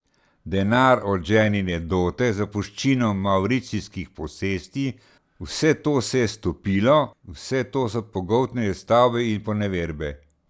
Denar od ženine dote, zapuščina mavricijskih posesti, vse to se je stopilo, vse to so pogoltnile stavba in poneverbe.